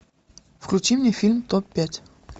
включи мне фильм топ пять